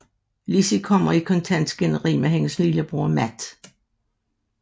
Lizzie kommer i konstant skænderi med hendes lillebror Matt